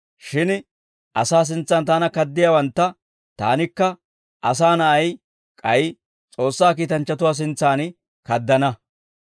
shin asaa sintsan taana kaddiyaawantta taanikka asaa na'ay, k'ay S'oossaa kiitanchchatuwaa sintsan kaddana.